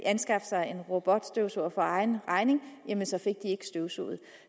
anskaffe sig en robotstøvsuger for egen regning jamen så fik de ikke støvsuget